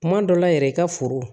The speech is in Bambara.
Kuma dɔ la yɛrɛ i ka foro